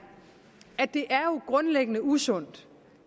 grundlæggende usundt